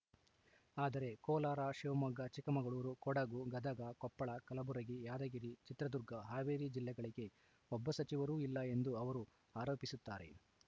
ಆದರೆ ಕೋಲಾರ ಶಿವಮೊಗ್ಗ ಚಿಕ್ಕಮಗಳೂರು ಕೊಡಗು ಗದಗ ಕೊಪ್ಪಳ ಕಲಬುರಗಿ ಯಾದಗಿರಿ ಚಿತ್ರದುರ್ಗ ಹಾವೇರಿ ಜಿಲ್ಲೆಗಳಿಗೆ ಒಬ್ಬ ಸಚಿವರೂ ಇಲ್ಲ ಎಂದು ಅವರು ಆರೋಪಿಸುತ್ತಾರೆ